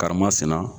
Karimasina